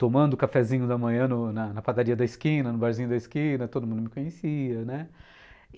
tomando um cafezinho da manhã no na padaria da esquina, no barzinho da esquina, todo mundo me conhecia, né?